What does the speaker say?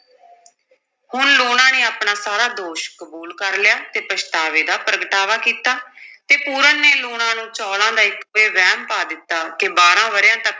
ਹੁਣ ਲੂਣਾ ਨੇ ਆਪਣਾ ਸਾਰਾ ਦੋਸ਼ ਕਬੂਲ ਕਰ ਲਿਆ ਤੇ ਪਛਤਾਵੇ ਦਾ ਪ੍ਰਗਟਾਵਾ ਕੀਤਾ ਤੇ ਪੂਰਨ ਨੇ ਲੂਣਾਂ ਨੂੰ ਚੌਲ਼ਾਂ ਦਾ ਇੱਕ, ਇਹ ਵਹਿਮ ਪਾ ਦਿੱਤਾ ਕਿ ਬਾਰਾਂ ਵਰਿਆਂ ਤੱਕ